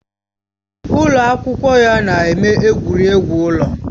Ụlọ akwụkwọ ya na-eme egwuregwu ụlọ